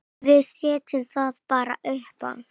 Við setjum það bara uppá.